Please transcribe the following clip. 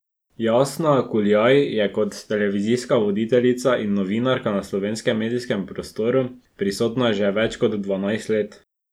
Jasna Kuljaj je kot televizijska voditeljica in novinarka na slovenskem medijskem prostoru prisotna že več kot dvanajst let.